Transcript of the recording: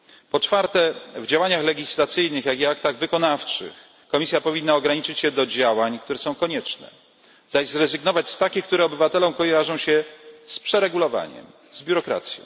Po czwarte, w działaniach legislacyjnych, jak i aktach wykonawczych Komisja powinna ograniczyć się do środków, które są niezbędne, zaś zrezygnować z takich, które obywatelom kojarzą się z przeregulowaniem, z biurokracją.